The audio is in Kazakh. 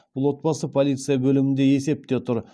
бұл отбасы полиция бөлімінде есепте тұр